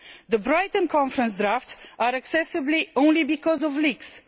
The Brighton Conference drafts are accessible only because of leaks.